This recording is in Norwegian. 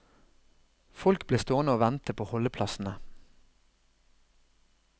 Folk ble stående og vente på holdeplassene.